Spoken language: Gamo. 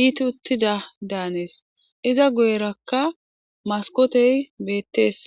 iiti uttidadaannes iza guyerakka maskootey bettees.